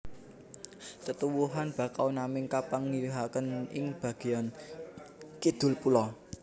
Tetuwuhan Bakau naming kapanggihaken ing bageyan kidul pulo